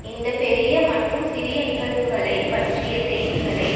இந்த பெரிய மற்றும் சிறிய நிகழ்வுகளை பற்றிய செய்திகளை